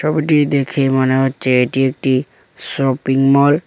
ছবিটি দেখে মনে হচ্ছে এটি একটি শপিংমল ।